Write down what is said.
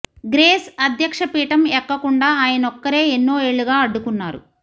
grace అధ్యక్ష పీఠం ఎక్కకుండా ఆయనొక్కరే ఎన్నో ఏళ్లుగా అడ్డుకున్నారు